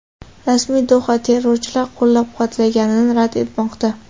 Rasmiy Doha terrorchilar qo‘llab-quvvatlanganini rad etmoqda.